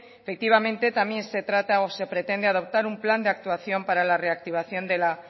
efectivamente también se trata o se pretende adoptar un plan de actuación para la reactivación de la